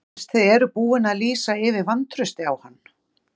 Fyrst þið eruð búin að lýsa yfir vantrausti á hann?